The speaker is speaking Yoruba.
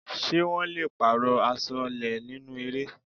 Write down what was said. Ṣé wọn le pààrọ̀ Aṣọ́lẹ́ nínú eré?